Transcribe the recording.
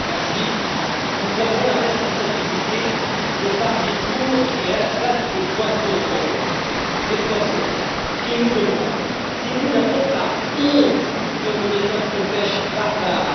Monsieur le Président, nous avons la responsabilité de parler pour et à la place des poissons sans voix. Les poissons, qui nous demandent si nous n'avons pas honte de nos méthodes de pêche barbares.